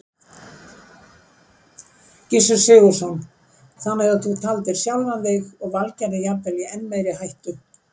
Gissur Sigurðsson: Þannig að þú taldir sjálfan þig og Valgerði jafnvel í enn meiri hættu?